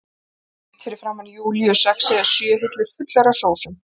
Beint fyrir framan Júlíu sex eða sjö hillur fullar af sósum.